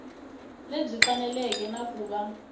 lebyi faneleke na ku va